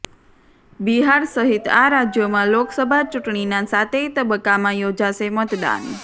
બિહાર સહિત આ રાજ્યોમાં લોકસભા ચૂંટણીનાં સાતેય તબક્કામાં યોજાશે મતદાન